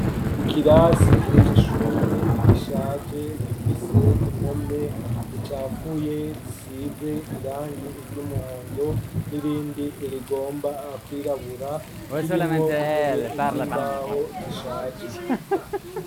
Ikirasi c' ishure igishaje gifise impome zicafuye zisize irangi iry'umuhondo n'irindi irigomba kwirabura kirimwo intebe z'imbaho zishaje.